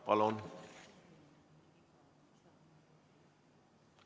Palun!